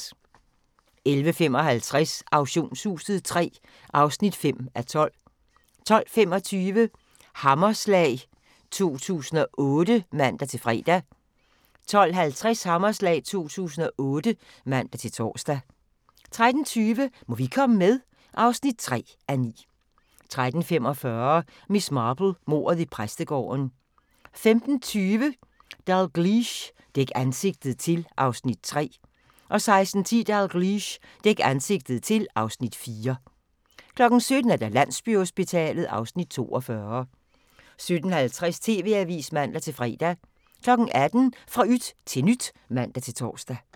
11:55: Auktionshuset III (5:12) 12:25: Hammerslag 2008 (man-fre) 12:50: Hammerslag 2008 (man-tor) 13:20: Må vi komme med? (3:9) 13:45: Miss Marple: Mordet i præstegården 15:20: Dalgliesh: Dæk ansigtet til (Afs. 3) 16:10: Dalgliesh: Dæk ansigtet til (Afs. 4) 17:00: Landsbyhospitalet (Afs. 42) 17:50: TV-avisen (man-fre) 18:00: Fra yt til nyt (man-tor)